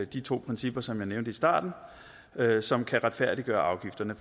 de to principper som jeg nævnte i starten som kan retfærdiggøre afgifterne